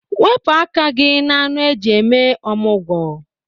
Wepụ aka gị na anụ eji eme ọmụgwọ.